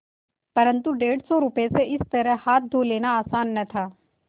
परन्तु डेढ़ सौ रुपये से इस तरह हाथ धो लेना आसान न था